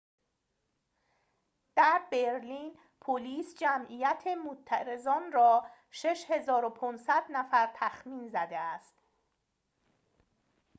در برلین پلیس جمعیت معترضان را ۶۵۰۰ نفر تخمین زده است